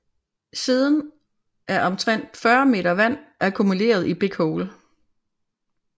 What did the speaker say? Siden er omtrent 40 m vand akkumuleret i Big Hole